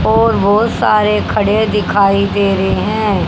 और बहोत सारे खड़े दिखाई दे रहे हैं।